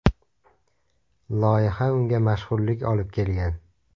Loyiha unga mashhurlik olib kelgan.